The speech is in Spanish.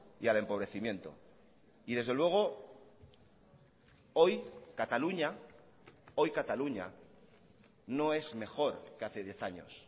y al empobrecimiento y desde luego hoy cataluña hoy cataluña no es mejor que hace diez años